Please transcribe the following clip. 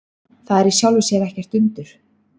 Það er í sjálfu sér ekkert undur.